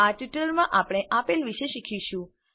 આ ટ્યુટોરીયલમાં આપણે આપેલ વિશે શીખીશું